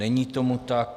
Není tomu tak.